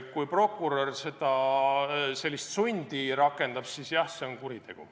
Kui prokurör sellist sundi rakendab, siis jah, see on kuritegu.